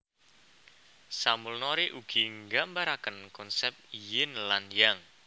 Samulnori ugi nggambaraken konsep Ying lan Yang